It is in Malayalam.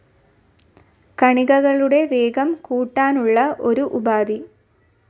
കണികകളുടെ വേഗം കൂടാനുള്ള ഒരു ഉപാധി.